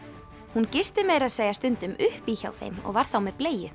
hún gisti meira að segja stundum upp í hjá þeim og var þá með